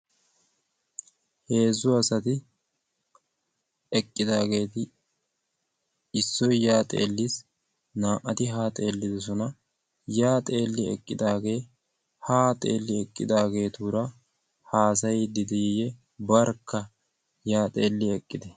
heezzu asati eqqidaageeti issoy yaa xeelliis. naa'ati haa xeellidosona. yaa xeelli eqqidaagee 'haa xeelli eqqidaageetuura haasayiddi diiyye barkka' yaa xeelli eqqite